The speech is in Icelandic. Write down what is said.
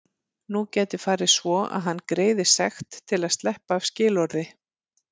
Nú gæti farið svo að hann greiði sekt til að sleppa af skilorði.